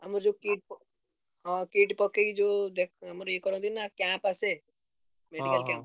ଆମର ଯୋଉ kit ହଁ kit ପକେଇକି ଯୋଉ ଦେ~ ଆମର ଇଏ କରନ୍ତିନି camp ଆସେ medical camp ।